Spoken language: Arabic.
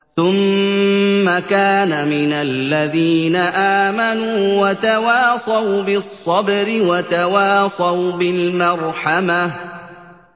ثُمَّ كَانَ مِنَ الَّذِينَ آمَنُوا وَتَوَاصَوْا بِالصَّبْرِ وَتَوَاصَوْا بِالْمَرْحَمَةِ